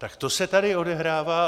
Tak to se tady odehrává.